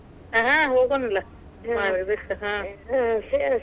ಹ ಹೋಗೋಣಲ್ಲ .